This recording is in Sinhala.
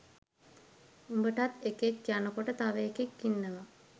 උඹටත් එකෙක් යනකොට තව එකෙක් ඉන්නවා